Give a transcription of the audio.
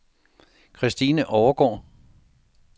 Christine Overgaard